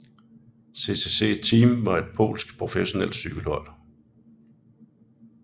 CCC Team var et polsk professionelt cykelhold